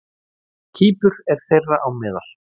Kýpur er þeirra á meðal.